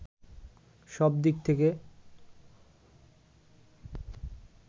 সব দিক থেকে